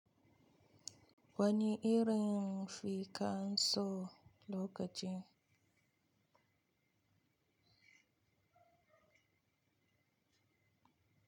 Wani irin fikan so lokaci.